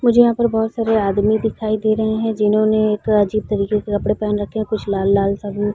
मुझे यहाँ पर बहुत सारे आदमी दिखाई दे रहे हैं जिन्होंने एक अजीब तरीके के कपड़े पहन रखे है कुछ लाल - लाल सा --